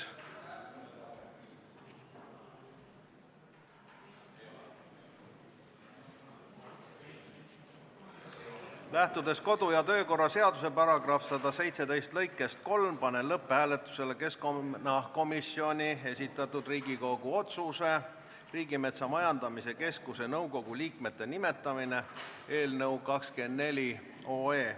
Lähtudes kodu- ja töökorra seaduse § 117 lõikest 3, panen lõpphääletusele keskkonnakomisjoni esitatud Riigikogu otsuse "Riigimetsa Majandamise Keskuse nõukogu liikmete nimetamine" eelnõu.